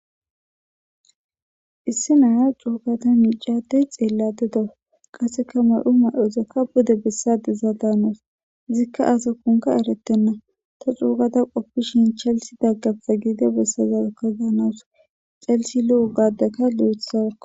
Issi naya coogata miicadey xeelladedo qasseka may'u may'ozakka bude bessade za daanaus zikka asa kunka eretenna ta coogata qoppishin chalsi daggasa giide bessazaakka gaanaws calsi lu'uugadeka li'ethsaao.